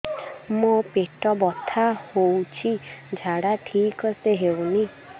ମୋ ପେଟ ବଥା ହୋଉଛି ଝାଡା ଠିକ ସେ ହେଉନି